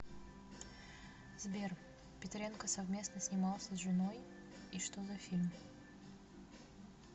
сбер петренко совместно снимался с женои и что за фильм